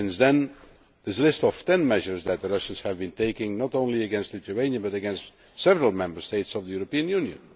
Since then we have a list of 10 measures that the Russians have been taking, not only against Lithuania but against several Member States of the European Union.